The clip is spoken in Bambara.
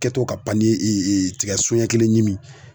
Kɛ to ka tigɛsoɲɛ kelen ɲimi